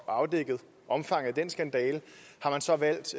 afdækket omfanget af den skandale så valgt